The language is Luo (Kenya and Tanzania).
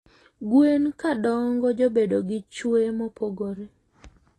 Gwen kadongo jobedo gi chwee mopogore